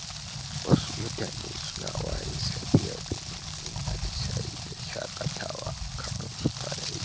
Wasu mutane suna ware safiya domin yin atisaye da shaƙatawa kafin su fara aiki.